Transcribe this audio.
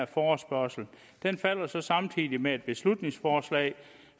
forespørgslen falder så samtidig med et beslutningsforslag